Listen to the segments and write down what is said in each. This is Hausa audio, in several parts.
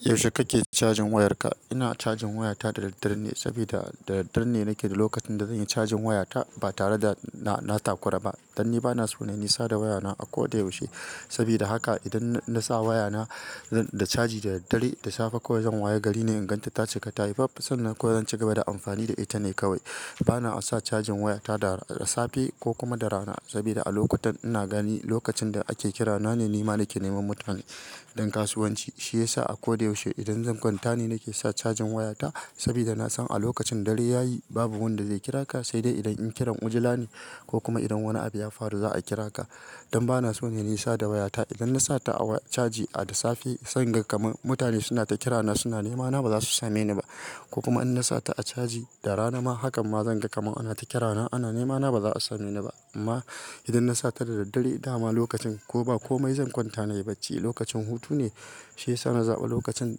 Yaushe kake cajin wayarka? Ina cajin wayata da daddare ne saboda da daddare ne nake lokacin da zanyi cajin wayata ba tare da na-na takura ba. Dan ni bana so na yi nisa da wayana a koda yaushe. Saboda haka idan na sa wayana da caji da dare da safe ko zan waya gari ne in ganta ta cika tayi faffs nan ko zan ci gaba da amfani da ita ne kawai. Bana sa cajin wayata da safe ko kuma da rana saboda a lokutan ina gani lokacin da ake kira na ne nema nake neman mutane don kasuwanci. Shi yasa a koda yaushe idan zan kwanta ne nake sa cajin wayata saboda nasan a lokacin dare yayi babu wanda zai kira ka sai dai idan in kiran wujula ne ko kuma idan wani abu ya faru za a kira ka. Dan bana so na yi nisa da wayata idan na sa ta a caji a da safe sai in ga kamar mutane suna ta kira na suna nema na bazasu same ni ba ko kuma in na sa ta a caji da rana ma hakan ma zan ga kamar ana ta kira na ana nema na bazasa a same ni ba. Amma idan na sa ta da daddare dama lokacin koba komai zan kwanta na yi bacci lokacin hutu ne. Shi yasa na zaɓa lokacin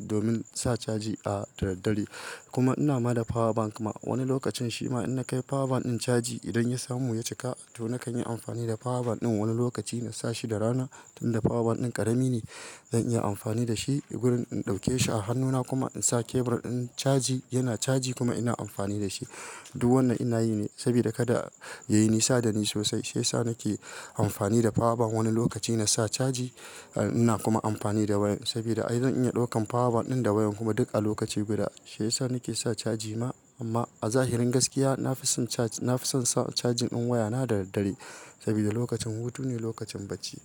domin sa caji a da daddare. Kuma ina mana da power bank ma wani lokacin shima in na kai power bank din caji idan ya samu ya cika to nakan yi amfani da power bank ɗin wani lokaci na sa shi da rana tunda power bank ɗin ƙarami ne zan iya amfani da shi wurin in ɗauke shi a hannuna kuma in sa kebur in caji yana caji kuma ina amfani da shi. Duk wannan ina yi ne saboda kada yayi nisa dani sosai. Shi yasa nake amfani da power bank wani lokaci na sa caji ina kuma amfani da wayan sabida ai zan iya ɗaukan power bank ɗin da wayan kuma duk a lokaci guda. Shi yasa nake sa caji ma amma a zahirin gaskiya nafison caj- nafison sa cajin ɗin wayana da daddare saboda lokacin hutu ne lokacin bacci.